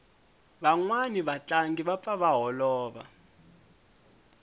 vanwani va tlangi va pfa va holova